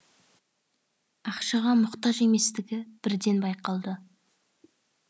ақшаға мұқтаж еместігі бірден байқалды